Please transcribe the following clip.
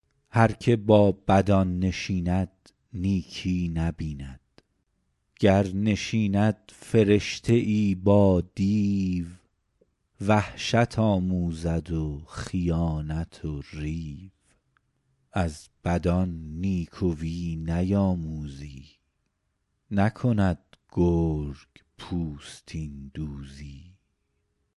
هر که با بدان نشیند نیکی نبیند گر نشیند فرشته ای با دیو وحشت آموزد و خیانت و ریو از بدان نیکویی نیاموزی نکند گرگ پوستین دوزی